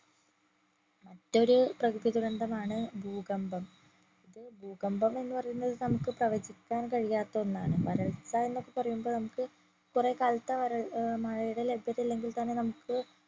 മറ്റൊരു പ്രകൃതി ദുരന്തമാണ് ഭൂകമ്പം. ഭൂകമ്പം എന്നുപറയുന്നത് നമ്മക്ക് പ്രവചിക്കാൻ കഴിയാത്ത ഒന്നാണ് വരൾച്ച എന്നൊക്കെ പറയുംമ്പോ നമ്മക്ക് കൊറേ കാലത്തേ വരൽ ഏർ മഴയുടെ ലഭ്യത ഇല്ലെങ്കിൽ തന്നെ നമ്മക്ക്